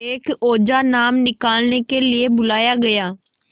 एक ओझा नाम निकालने के लिए बुलाया गया